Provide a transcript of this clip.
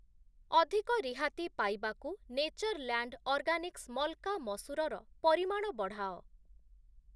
ଅଧିକ ରିହାତି ପାଇବାକୁ ନେଚର୍‌ଲ୍ୟାଣ୍ଡ୍‌ ଅର୍ଗାନିକ୍ସ୍‌ ମଲ୍‌କା ମସୁର ର ପରିମାଣ ବଢ଼ାଅ ।